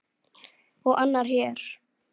Og annar hér!